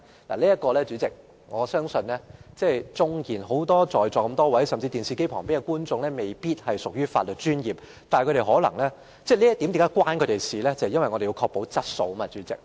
代理主席，我相信在座很多議員甚至在電視機前收看的觀眾都未必是從事法律專業的，但此事與他們也有關連，因為我們必須確保質素。